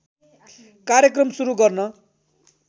कार्यक्रम सुरु गर्न